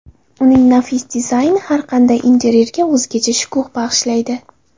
Uning nafis dizayni har qanday interyerga o‘zgacha shukuh bag‘ishlaydi.